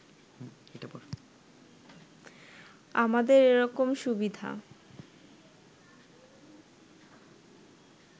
আমাদের এরকম সুবিধা